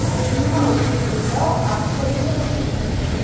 – Nima uchun unda AQShda yashaysiz?